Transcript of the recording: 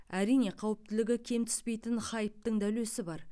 әрине қауіптілігі кем түспейтін хайптың да үлесі бар